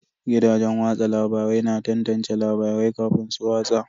Gidajen watsa labarai na tantance labarai kafin su watsa.